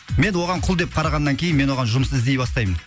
мен оған құл деп қарағаннан кейін мен оған жұмыс іздей бастаймын